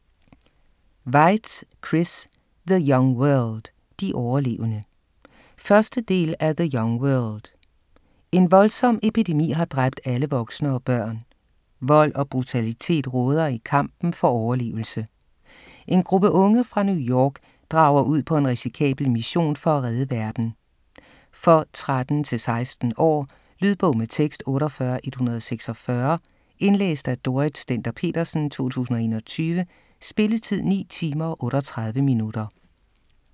Weitz, Chris: The young world - de overlevende 1. del af The young world. En voldsom epidemi har dræbt alle voksne og børn. Vold og brutalitet råder i kampen for overlevelse. En gruppe unge fra New York drager ud på en risikabel mission for at redde verden. For 13-16 år. Lydbog med tekst 48146 Indlæst af Dorrit Stender-Petersen, 2021. Spilletid: 9 timer, 38 minutter.